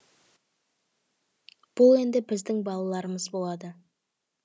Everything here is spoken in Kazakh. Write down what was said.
бұл енді біздің балаларымыз болады